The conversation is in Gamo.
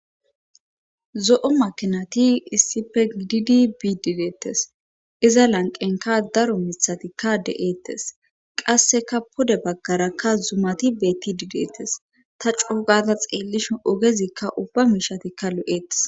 Zo,o makinati issife gididi bii dideettes iza lanqenka daro mithatikka de,ettes qasseka pode baggarakka zumati beetti dideettes ta coogata xeellishu ogezikka ubba miishatikka lo,ettes.